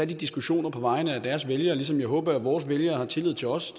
de diskussioner på vegne af deres vælgere ligesom jeg håber at vores vælgere har tillid til os